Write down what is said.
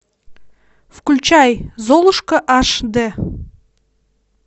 включай золушка эйч ди